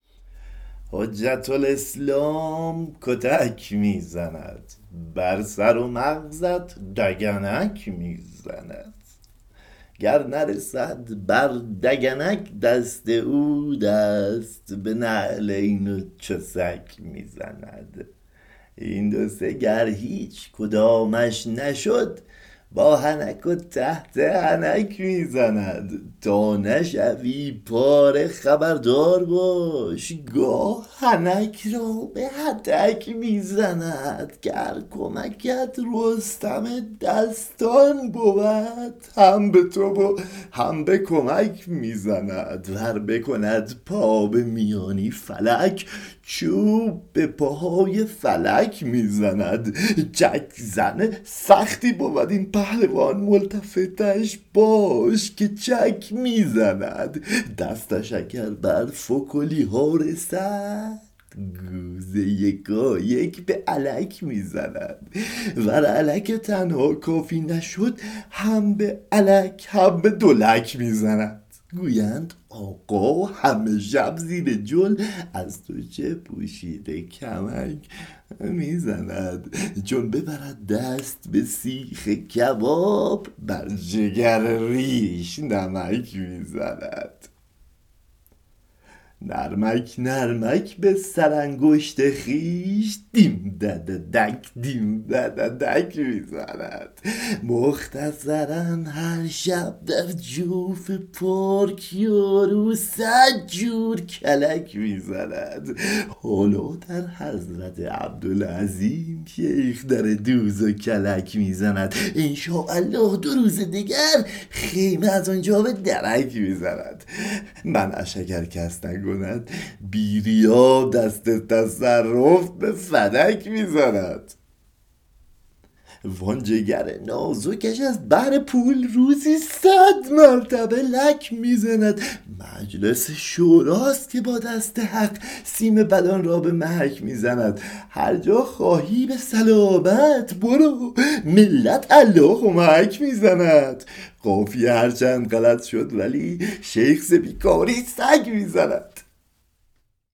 حجة الاسلام کتک می زند بر سر و مغزت دگنک می زند گر نرسد بر دگنک دست او دست به نعلین و چسک می زند این دو سه گر هیچ کدامش نشد با حنک و تحت حنک می زند تا نشوی پاره خبردار باش گاه حنک را به هتک می زند گر کمکت رستم دستان بود هم به تو و هم به کمک می زند ور بکند پا به میانی فلک چوب به پاهای فلک می زند چک زن سختی بود این پهلوان ملتفتش باش که چک می زند دستش اگر بر فکلی ها رسد گوز یکایک به الک می زند ور الک تنها کافی نشد هم به الک هم به دولک می زند گویند آقا همه شب زیر جل از تو چه پوشیده کمک می زند چون ببرد دست به سیخ کباب بر جگر ریش نمک می زند نرمک نرمک به سرانگشت خویش دیم دددک دیم دددک می زند مختصرا هر شب در جوف پارک یارو صد جور کلک می زند حالا در حضرت عبدالعظیم شیخ در دوز و کلک می زند ان شاء الله دو روز دگر خیمه از آن جا به درک می زند منعش اگر کس نکند بی ریا دست تصرف به فدک می زند وآن جگر نازکش از بهر پول روزی صد مرتبه لک می زند مجلس شوراست که با دست حق سیم بدان را به محک می زند هر جا خواهی به سلامت برو ملت الله معک می زند قافیه هر چند غلط شد ولی شیخ ز بیکاری سگ می زند